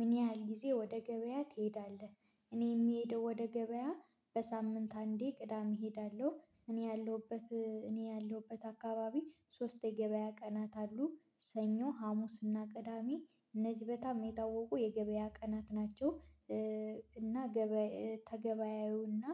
ምን ያህል ጊዜ ወደ ገበያ ትሄዳለህ? እኔ የምሄደው ወደ ገበያ በሳምንት አንዴ ቅዳሜ እሄዳለሁ እኔ ያለሁበት እኔ ያለሁበት አካባቢ ሶስት የገበያ ቀናት አሉ ሰኞ ሀሙስና ቅዳሚ እነዚህ በጣም የታወቁ የገበያ ቀናት ናቸው። እና ገበያ ተገበያዩና